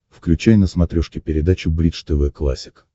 включай на смотрешке передачу бридж тв классик